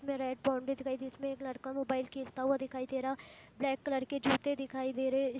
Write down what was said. इसमें red boundary दिखाई जिसमे एक लड़का मोबाइल खेलता हुआ दिखाई दे रहा ब्लैक कलर के जूते दिखाई दे रहे--